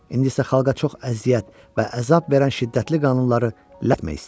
İndi isə xalqa çox əziyyət və əzab verən şiddətli qanunları ləğmək istəyir.